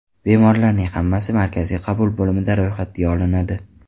Bemorlarning hammasi markaziy qabul bo‘limida ro‘yxatga olinadi.